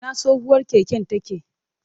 Ina tsohuwar keken take?